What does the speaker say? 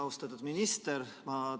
Austatud minister!